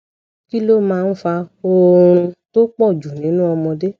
kí ló máa ń fa oorun tó po ju ninu omode